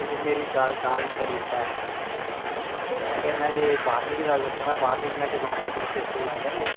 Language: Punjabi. ਲੇਕਿਨ ਮੇਰੀ ਦਾਲ ਨਹੀਂ ਗਲੀ ਉਸ ਫਿਰ ਮੈਂ ਬਾਰ੍ਹਵੀਂ ਦੀ ਗੱਲ ਕਰ ਤੇ ਸਕੂਲ ਆਂਦੇ ਹੀ